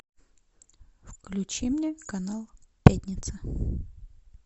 включи мне канал пятница